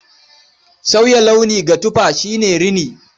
Sauya launi ga tufa shi ne rini.